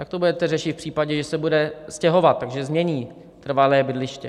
Jak to budete řešit v případě, že se bude stěhovat, takže změní trvalé bydliště?